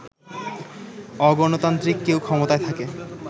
অগণতান্ত্রিক কেউ ক্ষমতায় থাকে